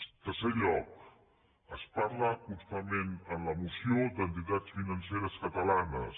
en tercer lloc es parla constantment en la moció d’entitats financeres catalanes